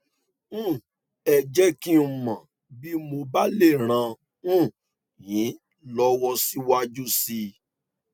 um ẹ jẹ kí n mọ bí mo bá lè ràn um yín lọwọ síwájú sí i